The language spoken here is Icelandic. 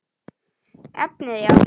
Efnið já?